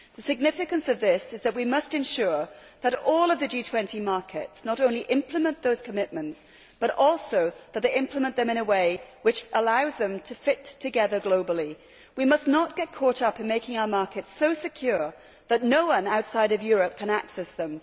The significance of this is that we must ensure that all the G20 markets not only implement those commitments, but also implement them in a way which allows them to fit together globally. We must not get caught up in making our markets so secure that no one outside of Europe can access them.